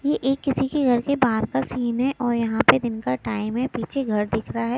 ये एक किसी के घर से बाहर का सीन है और यहां पे दिन का टाइम है पीछे घर दिख रहा है।